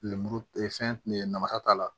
Lemuru fɛn nafa t'a la